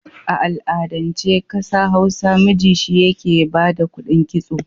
A al'adance a ƙasa Hausa miji shi yake ba da kuɗin kitso.